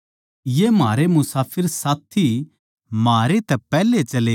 ये म्हारे मुसाफिर साथी म्हारे तै चले गये